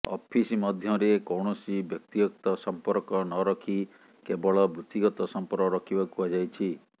office ମଧ୍ୟରେ କୌଣସି ବ୍ୟକ୍ତିଗତ ସଂପର୍କ ନରଖି କେବଳ ବୃତ୍ତିଗତ ସଂପର୍କ ରଖିବାକୁ କୁହାଯାଇଛି